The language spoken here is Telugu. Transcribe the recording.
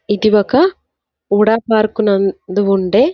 ఇది ఒక వుడా పార్క్ నందు ఉండే--